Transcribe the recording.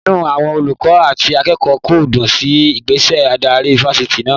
Inú àwọn olùkọ́ àti akẹ́kọ̀ọ́ kò dùn sí ìgbésẹ̀ adarí Fáṣítì náà.